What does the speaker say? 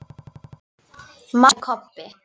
másaði Kobbi.